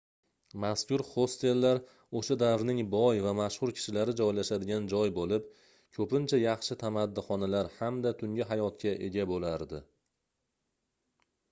mazkur hostellar oʻsha davrning boy va mashhur kishilari joylashadigan joy boʻlib koʻpincha yaxshi tamaddixonalar hamda tungi hayotga ega boʻlardi